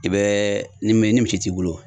I bɛ ni min ni misi t'i bolo